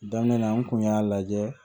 Daminɛ na n kun y'a lajɛ